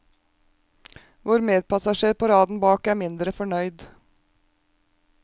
Vår medpassasjer på raden bak er mindre fornøyd.